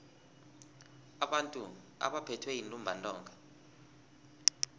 abantu abaphethwe yintumbantonga